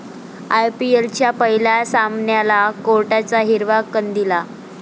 आयपीएलच्या पहिल्या सामन्याला कोर्टाचा हिरवा कंदील